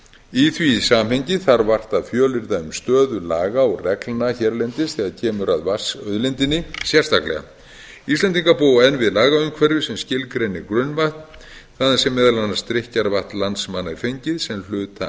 í því samhengi þarf vart að fjölyrða um stöðu laga og reglna hérlendis þegar kemur að vatnsauðlindinni sérstaklega íslendingar búa enn við lagaumhverfi sem skilgreinir grunnvatn þaðan sem meðal annars drykkjarvatn landsmanna er fengið sem hluta